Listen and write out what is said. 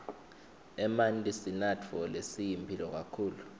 emanti sinatfo lesiyimphilo kakhulu